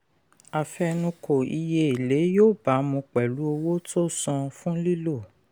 àfẹnukò iye èlé yóò bámu pẹ̀lú owó tó san fún lílo.